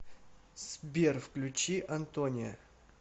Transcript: сбер включи антониа